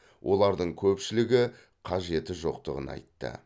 олардың көпшілігі қажеті жоқтығын айтты